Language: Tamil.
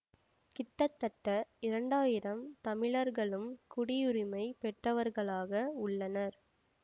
கிட்டத்தட்ட இரண்டாயிரம் தமிழர்களும் குடியுரிமைப் பெற்றவர்களாக உள்ளனர்